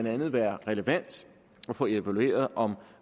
andet være relevant at få evalueret om